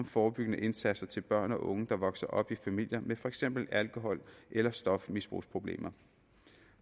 forebyggende indsats til børn og unge der vokser op i familier med for eksempel alkohol eller stofmisbrugsproblemer